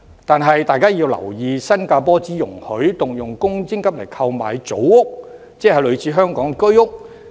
但大家要留意，新加坡只容許動用公積金購買組屋，即類似香港的居屋。